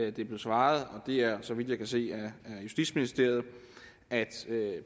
at der blev svaret og det er så vidt jeg kan se af justitsministeriet at